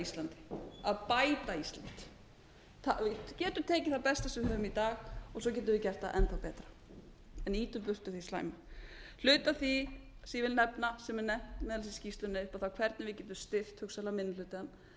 íslandi að bæta ísland við getum tekið það besta sem við höfum í dag og svo getum við gert það enn þá betra en ýtum burtu því slæma hluti af því sem ég vil nefna og sem er nefnt meðal annars í skýrslunni er hvernig við getum styrkt hugsanlega minni